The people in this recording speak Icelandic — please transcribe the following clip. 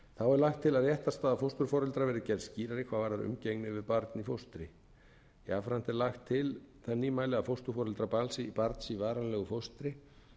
lagt er til að réttarstaða fósturforeldra verði gerð skýrari hvað varðar umgengni við barn í fóstri jafnframt er lagt til það hæli að fósturforeldrar barns í varanlegu fóstri